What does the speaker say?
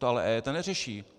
To ale EET neřeší!